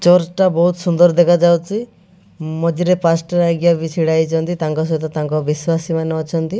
Church ଟା ବହୁତ ସୁନ୍ଦର ଦେଖାଯାଉଛି ମଝିରେ ଛିଡା ହେଇଛନ୍ତି ତାଙ୍କ ସହିତ ତାଙ୍କ ବିଶ୍ୱାସୀ ମାନେ ଅଛନ୍ତି।